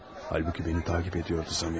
Halbuki məni təqib edirdi Zamiatov.